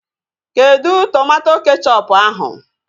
Kedụ tomato kechọpu ahụ?